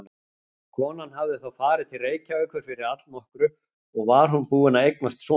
Konan hafði þá farið til Reykjavíkur fyrir allnokkru og var búin að eignast son.